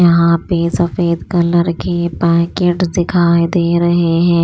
यहां पे सफेद कलर के पैकेट्स दिखाई दे रहे हैं।